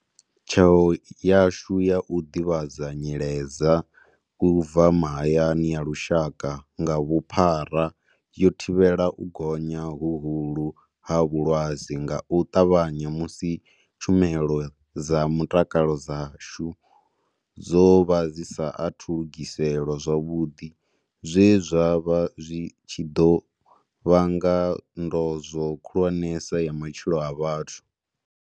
Tsheo yashu ya u ḓivhadza nyiledza u bva mahayani ya lushaka nga vhuphara yo thivhela u gonya huhulu ha vhulwadze nga u ṱavhanya musi tshumelo dza mutakalo dzashu dzo vha dzi sa athu lugiselwa zwavhuḓi, zwe zwa vha zwi tshi ḓo vhanga ndozwo khulwanesa ya matshilo a vhathu.